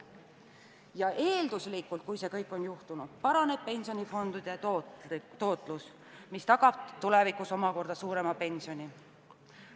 Ja kui see kõik on juhtunud, siis eelduslikult paraneb pensionifondide tootlus, mis tagab tulevikus omakorda suurema pensioni.